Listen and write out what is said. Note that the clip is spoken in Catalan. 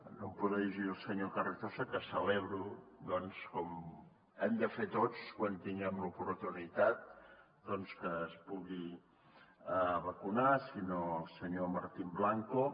no em podré dirigir al senyor carrizosa que celebro doncs com hem de fer tots quan en tinguem l’oportunitat que es pugui vacunar sinó al senyor martín blanco